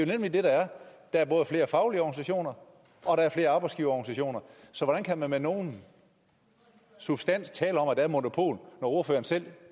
nemlig det der er der er både flere faglige organisationer og der er flere arbejdsgiverorganisationer så hvordan kan man med nogen substans tale om at der er et monopol når ordføreren selv